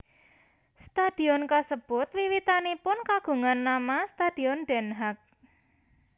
Stadion kasebut wiwitanipun kagungan nama Stadion Den Haag